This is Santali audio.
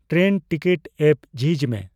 ᱴᱨᱮᱱ ᱴᱤᱠᱤᱴ ᱮᱯ ᱡᱷᱤᱡ ᱢᱮ